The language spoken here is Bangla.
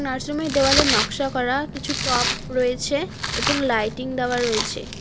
আশ্রমের দেওয়ালে নক্সা করা কিছু টব রয়েছে এবং লাইটিং দেওয়া রয়েছে।